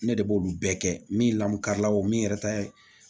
Ne de b'olu bɛɛ kɛ min lamɔ kari la o min yɛrɛ ta ye